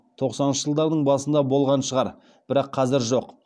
тоқсаныншы жылдардың басында болған шығар бірақ қазір жоқ